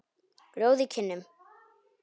Rjóð í kinnum.